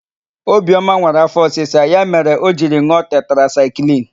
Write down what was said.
Obioma nwere afọ ọsisa, ya mere o jiri n̄ụọ tetrasaịklịn.